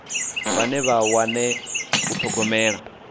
vhane vha wane u thogomela